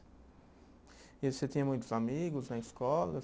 E você tinha muitos amigos na escola?